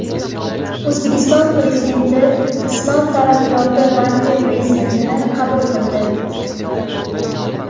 O‘zbekiston Prezidenti Islom taraqqiyoti banki prezidentini qabul qildi.